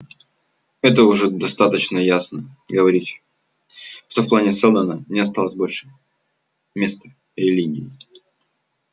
это уже достаточно ясно говорить что в плане сэлдона не осталось больше места религии